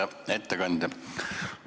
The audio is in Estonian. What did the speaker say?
Hea ettekandja!